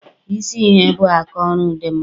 Ese ihe bụ aka ọrụ dị nma